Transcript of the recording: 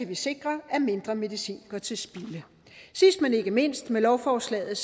vi sikre at mindre medicin går til spilde sidst men ikke mindst med lovforslaget